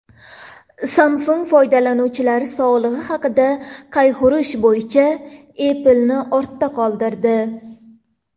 Samsung foydalanuvchilar sog‘lig‘i haqida qayg‘urish bo‘yicha Apple’ni ortda qoldirdi.